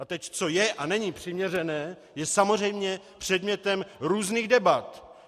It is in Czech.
A teď, co je a není přiměřené, je samozřejmě předmětem různých debat.